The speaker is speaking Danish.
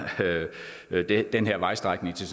den her vejstrækning til